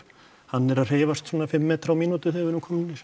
hann er að hreyfast svona fimm metra á mínútu þegar við erum komnir